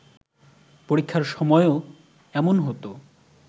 পরীক্ষার সময়ও এমন হতো